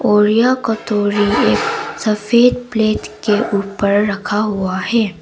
और यह कटोरी एक सफेद प्लेट के ऊपर रखा हुआ है।